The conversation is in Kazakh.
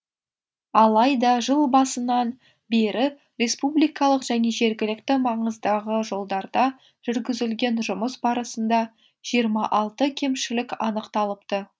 алайда жыл басынан бері республикалық және жергілікті маңыздағы жолдарда жүргізілген жұмыс барысында жиырма алты кемшілік анықталыпты